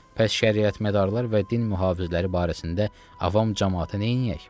Bəs şəriət mədarlar və din mühafizləri barəsində avam camaatı neyniyək?